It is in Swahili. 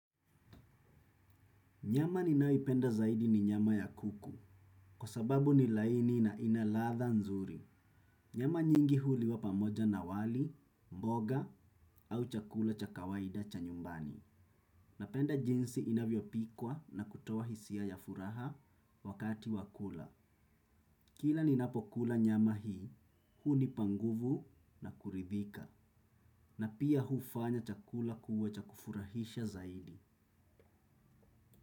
Nyama ninayoipenda zaidi ni nyama ya kuku, kwa sababu ni laini na ina ladha nzuri. Nyama nyingi huliwa pamoja na wali, mboga au chakula cha kawaida cha nyumbani. Napenda jinsi inavyopikwa na kutoa hisia ya furaha wakati wa kula. Kila ninapokula nyama hii, hunipa nguvu na kuridhika. Na pia hufanya chakula kuwa cha kufurahisha zaidi.